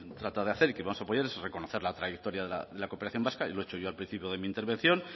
trata de hacer y que vamos a apoyar es reconocer la trayectoria de la cooperación vasca y lo he dicho yo al principio de mi intervención